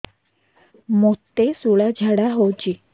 ମୋତେ ଶୂଳା ଝାଡ଼ା ହଉଚି